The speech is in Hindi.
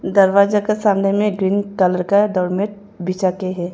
दरवाजा का सामने में ग्रीन कलर का डोर मेट बिछा के हैं।